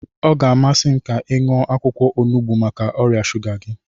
Ọ ga-amasị m ka ị ṅụọ akwụkwọ onugbu maka ọrịa shuga gị.